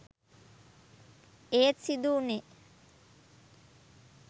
ඒත් සිදු වුණේ